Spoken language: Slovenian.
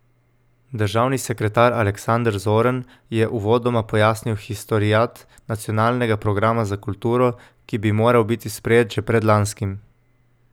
Državni sekretar Aleksander Zorn je uvodoma pojasnil historiat nacionalnega programa za kulturo, ki bi moral biti sprejet že predlanskim.